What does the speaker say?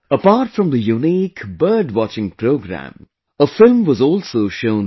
Apart from the Unique Bird Watching Program, a film was also shown here